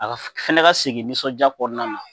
A ka fana ka segin nisɔndiya kɔnɔna na